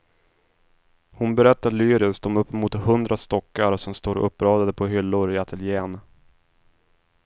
Hon berättar lyriskt om uppemot hundra stockar som står uppradade på hyllor i ateljen.